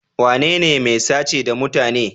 Wanene mai sace da mutane?